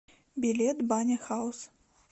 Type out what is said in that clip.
билет баня хаус